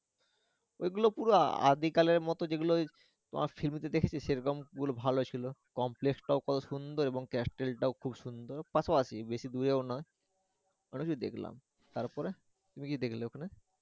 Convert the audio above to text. ওইগুলো পুরা আদিকালের মতো যেগুলো তোমার ফিল্মেতে দেখেছি সেরকম গুলো ভালোই ছিলো complex টাও কত সুন্দর এবং castle টাও খুব সুন্দর পাশাপাশি বেশি দূরেও না অনেক কিছু দেখলাম তারপরে তুমি কি দেখলে ওখানে।